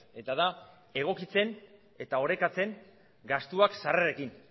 eta da egokitzen eta orekatzen gastuak sarrerekin